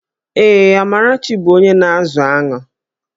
Ee, Amarachi bụ onye na-azụ aṅụ